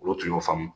Olu tun y'o faamu